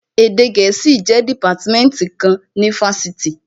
Èdè gẹ̀ẹ́sì jẹ́ dìpátímẹ́ǹtì kan ní ifásitì